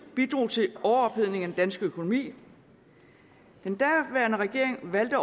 bidrog til en overophedning af dansk økonomi den daværende regering valgte